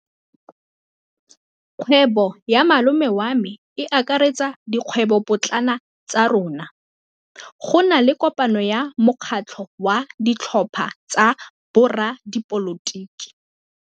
Kgwêbô ya malome wa me e akaretsa dikgwêbôpotlana tsa rona. Go na le kopanô ya mokgatlhô wa ditlhopha tsa boradipolotiki.